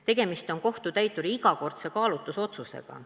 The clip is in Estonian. Tegemist on kohtutäituri igakordse kaalutlusotsusega.